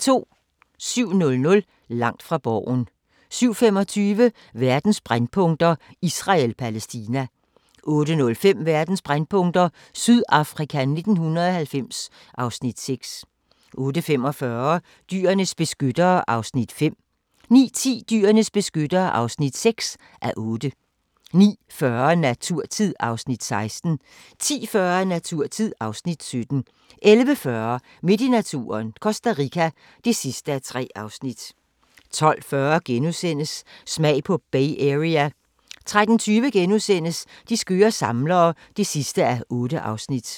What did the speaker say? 07:00: Langt fra Borgen 07:25: Verdens brændpunkter: Israel-Palæstina 08:05: Verdens brændpunkter: Sydafrika 1990 (Afs. 6) 08:45: Dyrenes beskyttere (5:8) 09:10: Dyrenes beskyttere (6:8) 09:40: Naturtid (Afs. 16) 10:40: Naturtid (Afs. 17) 11:40: Midt i naturen – Costa Rica (3:3) 12:40: Smag på Bay Area * 13:20: De skøre samlere (8:8)*